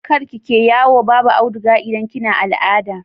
kar kike yawo Babu audiga idan kina al'ada